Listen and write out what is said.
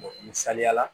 misaliya la